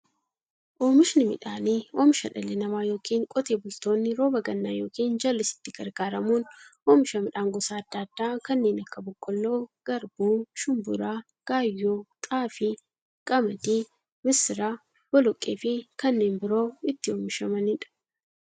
Oomishni midhaanii, oomisha dhalli namaa yookiin Qotee bultoonni roba gannaa yookiin jallisiitti gargaaramuun oomisha midhaan gosa adda addaa kanneen akka; boqqoolloo, garbuu, shumburaa, gaayyoo, xaafii, qamadii, misira, boloqqeefi kanneen biroo itti oomishamiidha.